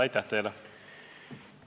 Aitäh teile!